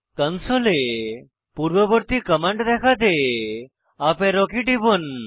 কনসোলে পূর্ববর্তী কমান্ড দেখাতে up arrow key টিপুন